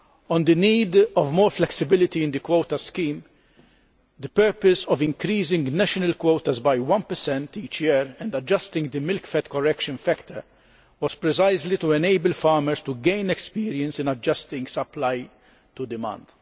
On the need for more flexibility in the quotas scheme, the purpose of increasing national quotas by 1 each year and adjusting the milk fat correction factor was precisely to enable farmers to gain experience in adjusting supply to demand.